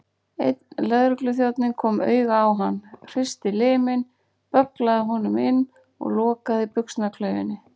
Einn lögregluþjónninn kom auga á hann, hristi liminn, bögglaði honum inn og lokaði buxnaklaufinni.